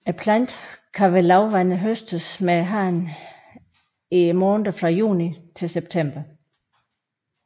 Planten kan ved lavvande høstes med hånden i månederne fra juni til september